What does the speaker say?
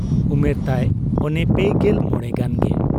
ᱩᱢᱮᱨ ᱛᱟᱭ ᱚᱱᱮ ᱯᱮᱜᱮᱞ ᱢᱚᱬᱮ ᱜᱟᱱᱜᱮ ᱾